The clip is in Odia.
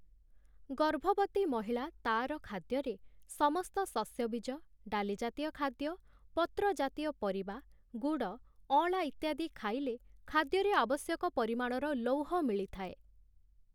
ଗର୍ଭବତୀ ମହିଳା ତା'ର ଖାଦ୍ୟରେ ସମସ୍ତ ଶସ୍ୟବୀଜ, ଡାଲିଜାତୀୟ ଖାଦ୍ୟ, ପତ୍ରଜାତୀୟ ପରିବା, ଗୁଡ଼ ଅଁଳା ଇତ୍ୟାଦି ଖାଇଲେ ଖାଦ୍ୟରେ ଆବଶ୍ୟକ ପରିମାଣର ଲୌହ ମିଳିଥାଏ ।